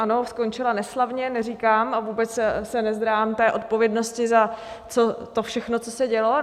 Ano, skončila neslavně, neříkám a vůbec se nezdráhám té odpovědnosti za to všechno, co se dělo.